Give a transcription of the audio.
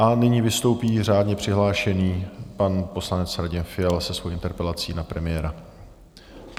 A nyní vystoupí řádně přihlášený pan poslanec Radim Fiala se svou interpelací na premiéra.